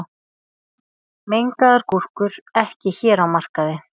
Mengaðar gúrkur ekki hér á markaði